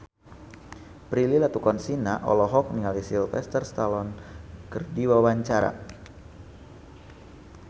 Prilly Latuconsina olohok ningali Sylvester Stallone keur diwawancara